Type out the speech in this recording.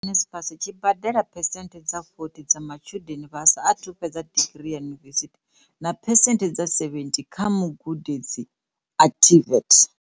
Tshikwama tsha NSFAS tshi badela phesenthe dza 40 dza matshudeni vha sa athu fhedza digiri yunivesithi na phesenthe dza 70 kha magudedzi a TVET.